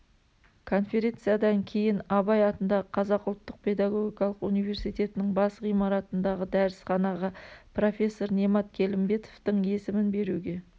конференциядан кейін абай атындағы қазақ ұлттық педагогикалық университетінің бас ғимаратындағы дәрісханаға профессор немат келімбетовтың есімін беруге